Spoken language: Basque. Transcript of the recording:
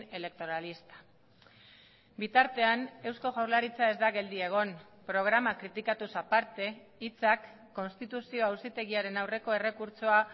electoralista bitartean eusko jaurlaritza ez da geldi egon programa kritikatuz aparte hitzak konstituzio auzitegiaren aurreko errekurtsoa